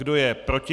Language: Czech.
Kdo je proti?